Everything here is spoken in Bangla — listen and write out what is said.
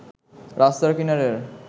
রাস্তার কিনারের